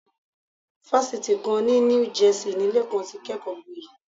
Fásitì kan ní New Jersey ni Lékan ti kẹ́kọ̀ọ́gboyè.